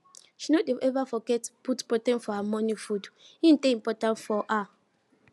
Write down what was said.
she no dey ever forget put protein for her morning foode dey important for her